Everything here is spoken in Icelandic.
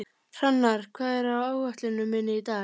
Hrannar, hvað er á áætluninni minni í dag?